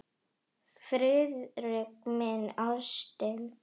Friðrik minn, ástin.